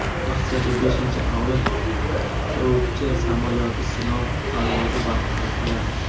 Rossiyada beshinchi avlod qiruvchi samolyoti sinov parvozi vaqtida quladi.